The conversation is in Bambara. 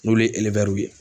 N'olu ye ye.